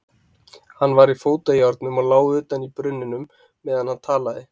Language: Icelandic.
Hann var í fótajárnum og lá utan í brunninum meðan hann talaði.